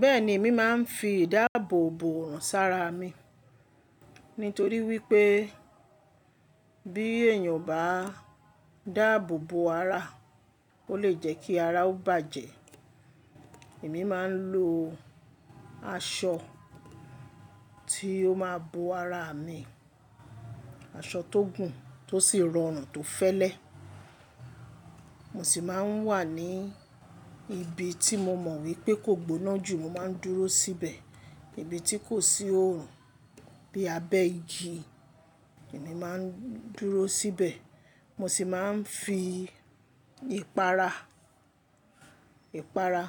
Bẹ́ẹ̀ni, èmi máa ń fi ìdáàbò bòùn sára mi. Nítorí wípé bí èèyàn bá dáàbò bò ara, ó lè jẹ́ kí ara ó bàjẹ́. Èmi máa ń lo aṣọ tí ó máa bo ara mi, aṣọ tó gùn tó sì rọrùn tó fẹ́lẹ́. Mo sì máa ń wà ní ibi tí mo mọ̀ wípé kò gbóná jù mo máa ń dúró síbẹ̀. Ibi tí kò sí oòrùn bí abẹ́ igi, èmi máa ń dúró síbẹ̀. Mo sì máa ń fi ìpara, ìpara,